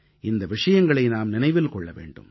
இந்த விஷயங்களை நாம் நினைவில் கொள்ள வேண்டும்